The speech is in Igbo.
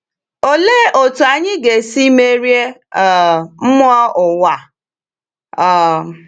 Olee otú anyị ga-esi merie um mmụọ ụwa? um